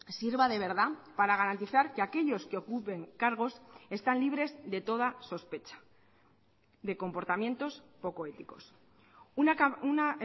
sirva de verdad para garantizar que aquellos que ocupen cargos están libres de toda sospecha de comportamientos poco éticos una